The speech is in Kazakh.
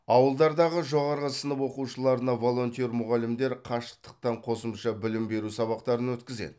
ауылдардағы жоғары сынып оқушыларына волонтер мұғалімдер қашықтықтан қосымша білім беру сабақтарын өткізеді